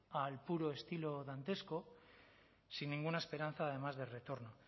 al puro estilo dantesco sin ninguna esperanza además de retorno